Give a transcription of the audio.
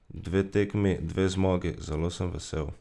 Dve tekmi, dve zmagi, zelo sem vesel.